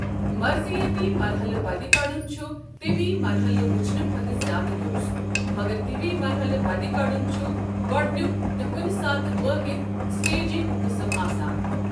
مرضیٲتی مرٛحلہٕ بدِ كڑُن چھ طبی مرحلہٕ وٕچھنہٕ کھۄتہٕ زِیٛادٕ دُرُست، مگر طبی مرحلہٕ بدِ كڈٗن چُھ گۄڈٕنیک تہٕ کُنہِ ساتہٕ وٲحِد سٹیجنگ قٕسم آسان ۔